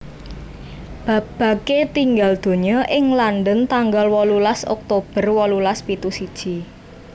Babbage tinggal donya ing London tanggal wolulas Oktober wolulas pitu siji